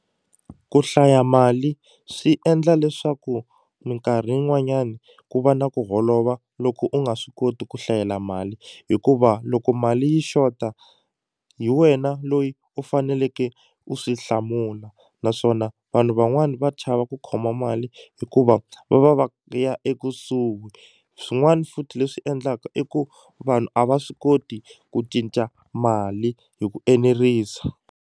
Ku hlaya mali swi endla leswaku minkarhi yin'wanyani ku va na ku holova loko u nga swi koti ku hlayela mali hikuva loko mali yi xota hi wena loyi u faneleke u swi hlamula naswona vanhu van'wani va chava ku khoma mali hikuva va va va ya ekusuhi swin'wani futhi leswi endlaka i ku vanhu a va swi koti ku cinca mali hi ku enerisa.